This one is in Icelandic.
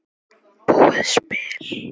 búið spil.